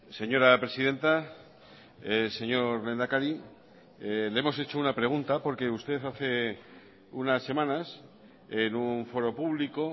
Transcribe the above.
señora presidenta señor lehendakari le hemos hecho una pregunta porque usted hace unas semanas en un foro público